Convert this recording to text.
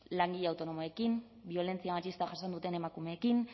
langile autonomoekin biolentzia matxistak jasan duten emakumeekin